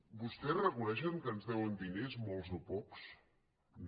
vostès reconeixen que ens deuen diners molts o pocs no